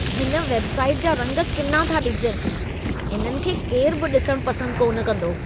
हिन वेबसाइट जा रंग किना था ॾिसिजनि। इन्हनि खे केरु बि ॾिसण पसंद कोन कंदो।